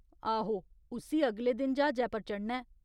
आहो, उस्सी अगले दिन ज्हाजै पर चढ़ना ऐ।